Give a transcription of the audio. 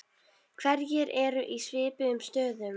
Hverjir eru í svipuðum stöðum?